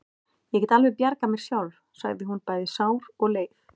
Ég get alveg bjargað mér sjálf, sagði hún, bæði sár og leið.